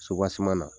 na